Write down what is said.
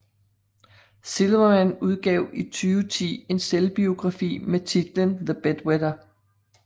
Silverman udgav i 2010 en selvbiografi med titlen The Bedwetter